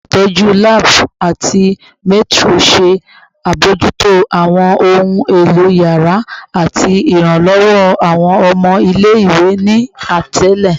Olutọju laabu ati matron ṣe abojuto awọn ohun elo yàrá ati iranlọwọ awọn ọmọ ile-iwe, ni atele